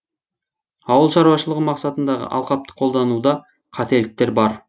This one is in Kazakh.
ауыл шаруашылығы мақсатындағы алқапты қолдануда қателіктер бар